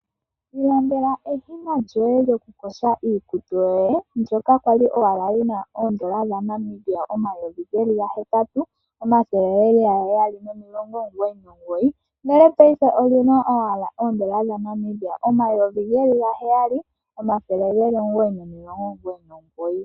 Ilandela eshina lyoye lyokuyoga iikutu yoye ndyoka lya li lyi na N$ 8 799, ndele paife oli na owala N$ 7 999.